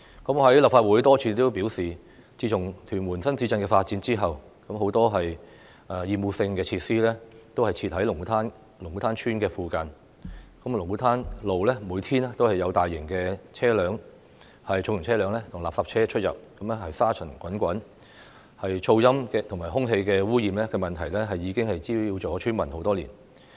我在立法會多次表示，自從屯門新市鎮發展後，很多厭惡性設施都設在龍鼓灘村附近，龍鼓灘路每天都有重型車輛及垃圾車出入，令該處沙塵滾滾，噪音及空氣污染問題，已經滋擾了村民很多年。